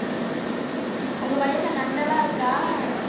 உங்க வயல்ல நண்டு எல்லாம் இருக்கா